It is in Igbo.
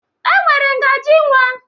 E nwere ngaji nwa.